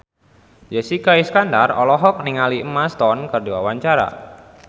Jessica Iskandar olohok ningali Emma Stone keur diwawancara